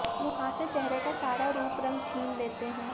मुहांसे चेहरे का सारा रूप रंग छीन लेते हैं